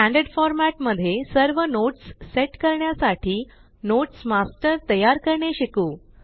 standard format मध्ये सर्व notes set करण्यासाठी नोट्स मास्टर तयार करणे शिकू